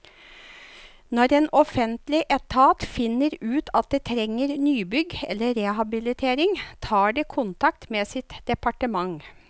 Når en offentlig etat finner ut at det trenger nybygg eller rehabilitering, tar det kontakt med sitt departement.